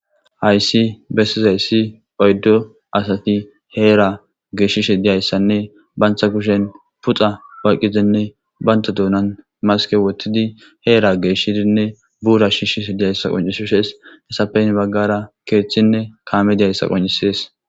Haysi bessizaysi heera giddo geeshshishe dizaysanne banta kushen pitethi oykkidinne banta duunan maske woththidinne buura shiishe dizaysanne izetappe henira kaamey dizaysa qoncisees.